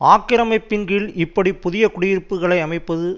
ஆக்கிரமிப்பின் கீழ் இப்படி புதிய குடியிருப்புக்களை அமைப்பது